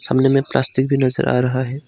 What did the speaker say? सामने में प्लास्टिक भी नजर आ रहा है।